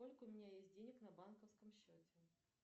сколько у меня есть денег на банковском счете